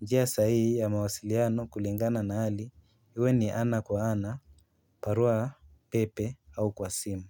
njia sahihi ya mawasiliano kulingana na hali iwe ni ana kwa ana barua pepe au kwa simu.